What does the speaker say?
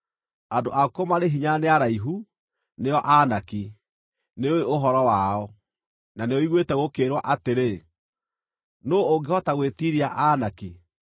Andũ akuo marĩ hinya na nĩ araihu, nĩo Aanaki! Nĩũũĩ ũhoro wao, na nĩũiguĩte gũkĩĩrwo atĩrĩ: “Nũũ ũngĩhota gwĩtiiria andũ a Anaki?”